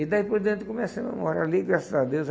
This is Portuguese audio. E daí por diante começamos a morar ali, graças a Deus.